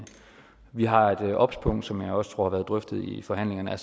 vi har et obs punkt som jeg også tror har været drøftet i forhandlingerne